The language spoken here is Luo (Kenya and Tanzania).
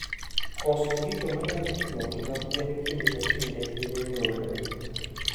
koso gigo manyalo pimo ngima gwen kinde ka kinde hinyo nyuolo